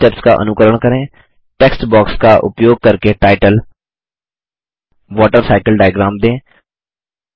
पिछले स्टेप्स का अनुकरण करें टेक्स्ट बॉक्स का उपयोग करके टाइटल वॉटरसाइकिल डायग्राम दें